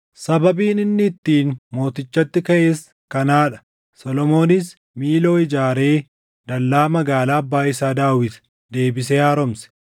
Sababiin inni ittiin mootichatti kaʼes kanaa dha: Solomoonis Miiloo ijaaree dallaa magaalaa abbaa isaa Daawit deebisee haaromse.